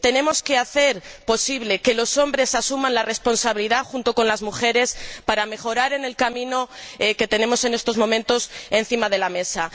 Tenemos que hacer posible que los hombres asuman la responsabilidad junto con las mujeres para mejorar en el camino que tenemos en estos momentos encima de la mesa.